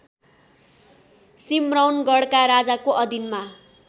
सिम्रौनगढका राजाको अधीनमा